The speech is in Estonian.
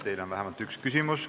Teile on vähemalt üks küsimus.